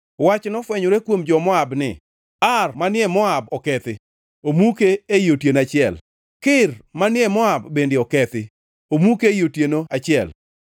Wach nofwenyore kuom jo-Moab ni: Ar manie Moab okethi, omuke ei otieno achiel! Kir manie Moab bende okethi, omuke ei otieno achiel!